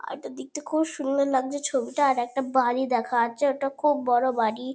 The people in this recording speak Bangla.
আর একটা দেখতে খুব সুন্দর লাগছে ছবিটা আর একটা বাড়ি দেখা যাচ্ছে। ওটা খুব বড়ো বাড়ি।